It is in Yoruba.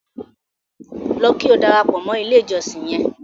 Lọ kí o darapọ mọ ilẹ̀ ìjọ̀ṣìn yẹn!